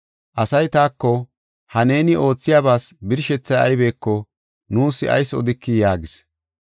Asay taako, “Ha neeni oothiyabas birshethay aybeko nuus ayis odikii?” yaagis.